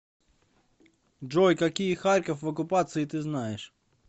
джой какие харьков в оккупации ты знаешь